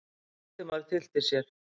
Valdimar tyllti sér.